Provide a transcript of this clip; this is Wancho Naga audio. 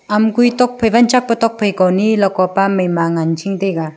lam goi ladko pa mai ma manching taiga.